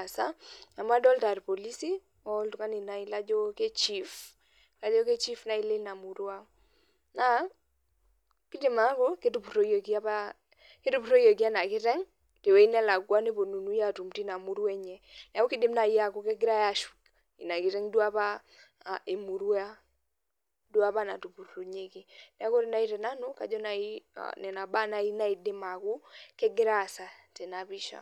aasa amu adolta irpolisi oltungani laijo ka chief kaji chief nai lina murua na kidim ataaku ketupuroyieki enakiteng tewoi nalakwa neponunui atum tinamurua enye neaku kidim nai aaku kegirai ashuk inakiteng emurua apa natupurunyeki neaku ore nai tenanu nona baa nai naidim ataa kegira aasa tenapisha.